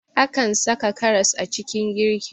Akan saka karas a cikin girki